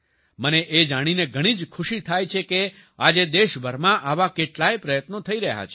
મને એ જોઈને ઘણી જ ખુશી થાય છે કે આજે દેશભરમાં આવા કેટલાય પ્રયત્નો થઈ રહ્યા છે